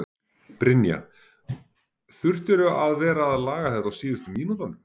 Brynja: Þurftirðu að vera að laga þetta á síðustu mínútunum?